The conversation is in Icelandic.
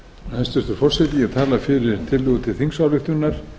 hæstvirtur forseti ég tala fyrir tillögu til þingsályktunar